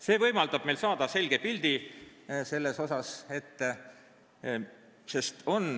See võimaldab meil saada selge pildi.